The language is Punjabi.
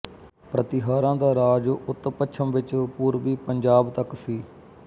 ਪ੍ਰਤੀਹਾਰਾਂ ਦਾ ਰਾਜ ਉੱਤਪੱਛਮ ਵਿੱਚ ਪੂਰਬੀ ਪੰਜਾਬ ਤੱਕ ਸੀ